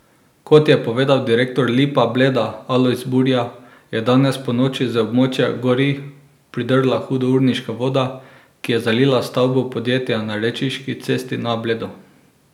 Kot je povedal direktor Lipa Bleda Alojz Burja, je danes ponoči z območja Gorij pridrla hudourniška voda, ki je zalila stavbo podjetja na Rečiški cesti na Bledu.